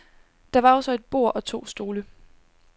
Der var også et bord og to stole.